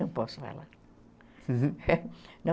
Não posso falar.